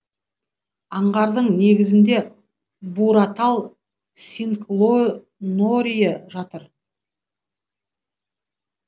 аңғардың негізінде буратал синклонорий жатыр